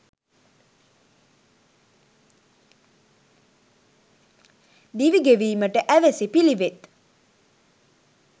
දිවි ගෙවීමට ඇවැසි පිළිවෙත්